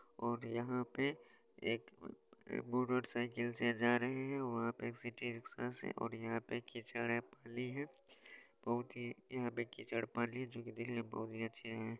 और यहाँ पे एक अ अ मोटर साइकिल से जा रहे हैं और वहाँ पे एक सिटी रिक्शा से और यहाँ पे कीचड़ है पानी है बहोत ही यहाँ पे कीचड़ पानी है जोकि देखने में बहोत ही अच्छे हैं।